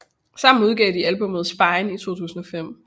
Sammen udgav de albummet Spine i 2005